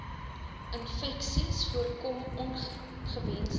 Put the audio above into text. infeksies voorkom ongewensde